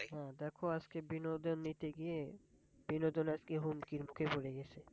হ্যাঁ দেখো আজকে বিনোদন নিতে গিয়ে বিনোদন আজকে হুমকির মুখে পড়ে গেছে।